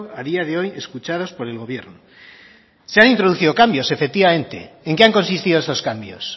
a día de hoy escuchados por el gobierno se han introducido cambios efectivamente en qué han consistido esos cambios